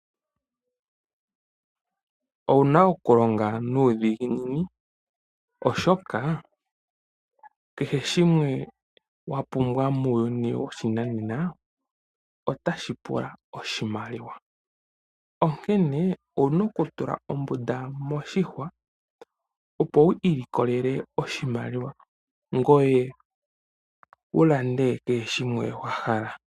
Owuna okulonga nudhinginini oshoka kehe shimwe wapumbwa muuyuni woshinanena otashipula oshimaliwa, onkene owuna okutula ombunda moshihwa opo wu ilikolele oshimaliwa ngweye wulande kehe shimwe wahala.